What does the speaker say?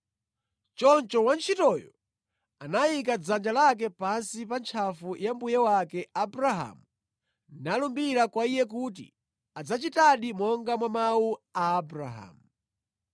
Choncho wantchitoyo anayika dzanja lake pansi pa ntchafu ya mbuye wake Abrahamu nalumbira kwa iye kuti adzachitadi monga mwa mawu a Abrahamu.